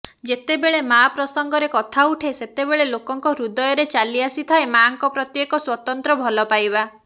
ଯେତେବେଳେ ମାଆ ପ୍ରସଂଗରେ କଥା ଉଠେ ସେତେବେଳେ ଲୋକଙ୍କ ହୃଦୟରେ ଚାଲିଆସିଥାଏ ମାଆଙ୍କ ପ୍ରତି ଏକ ସ୍ୱତନ୍ତ୍ର ଭଲପାଇବା